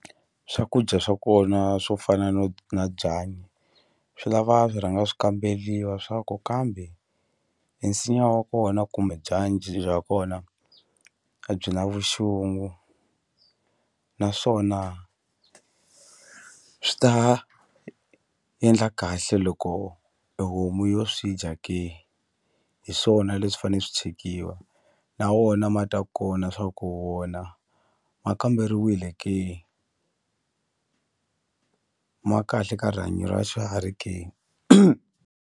Swakudya swa kona swo fana no na byanyi swi lava swi rhanga swi kambeliwa swa ku kambe e nsinya wa kona kumbe bya kona a byi na vuxungu naswona swi ta endla kahle loko e homu yo swi dya ke hi swona leswi fane swi chekiwa na wona ma ta kona swa ku wona ma kamberiwile ke ma kahle ka rihanyo ra xiharhi ke.